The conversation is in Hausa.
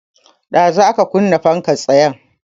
Ɗazu aka kunna fankar tsayen